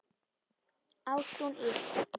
Ásrún Ýr.